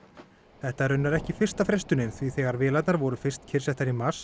þetta er raunar ekki fyrsta frestunin því þegar vélarnar voru fyrst kyrrsettar í mars